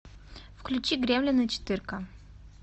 включи гремлины четыре ка